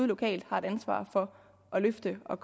lokalt har et ansvar for at løfte og